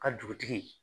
Ka dugutigi